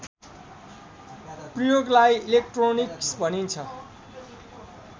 प्रयोगलाई इलेक्ट्रोनिक्स भनिन्छ